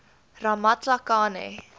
ramatlakane